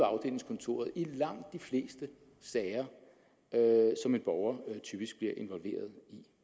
afdelingskontoret i langt de fleste sager som en borger typisk bliver involveret